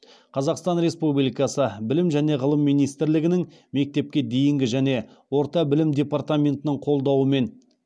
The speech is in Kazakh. қазақстан республикасы білім және ғылым министрлігінің мектепке дейінгі және орта білім департаментінің қолдауымен